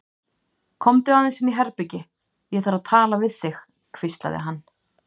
Komdu aðeins inn í herbergi, ég þarf að tala við þig hvíslaði hann.